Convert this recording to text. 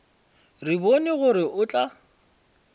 re bone gore o tla